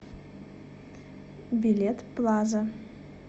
билет плаза